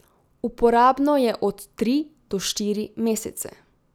Uporabno je od tri do štiri mesece.